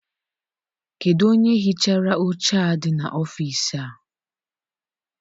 Kedụ onye hichara oche a dị n'ọfịịsi a?